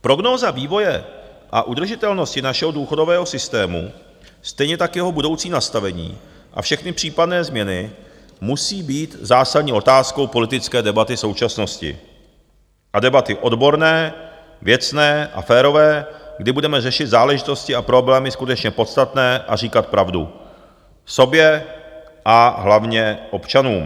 Prognóza vývoje a udržitelnost našeho důchodového systému, stejně tak jeho budoucí nastavení, a všechny případné změny, musí být zásadní otázkou politické debaty současnosti a debaty odborné, věcné a férové, kdy budeme řešit záležitosti a problémy skutečně podstatné a říkat pravdu sobě a hlavně občanům.